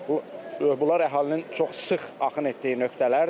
bunlar əhalinin çox sıx axın etdiyi nöqtələrdir.